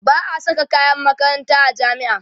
ba'a Saka kayan makaranta a jami'a